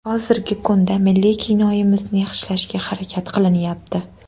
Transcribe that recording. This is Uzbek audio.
Hozirgi kunda milliy kinoimizni yaxshilashga harakat qilinyapti.